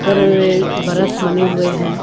और वे बरस बने हुए हैं।